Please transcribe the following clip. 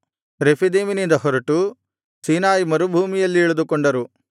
ರೆಫೀದೀಮಿನಿಂದ ಹೊರಟು ಸೀನಾಯಿ ಮರುಭೂಮಿಯಲ್ಲಿ ಇಳಿದುಕೊಂಡರು